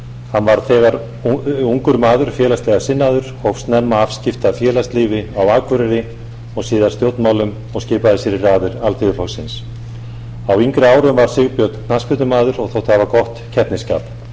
hann var þegar ungur maður félagslega sinnaður hóf snemma afskipti af félagslífi á akureyri og síðan stjórnmálum og skipaði sér í raðir alþýðuflokksins á yngri árum var sigbjörn knattspyrnumaður og þótti hafa gott keppnisskap